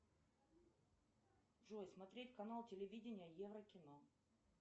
джой смотреть канал телевидение евро кино